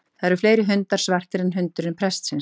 Það eru fleiri hundar svartir en hundurinn prestsins.